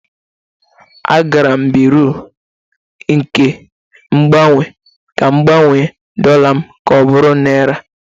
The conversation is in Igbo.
A gara m na Bịrụ nke Mgbanwe ka m gbanwee dollar m ka ọ bụrụ naira